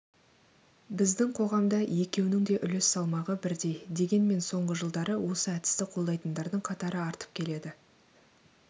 біздің қоғамда екеуінің де үлес салмағы бірдей дегенмен соңғы жылдары осы әдісті қолдайтындардың қатары артып келеді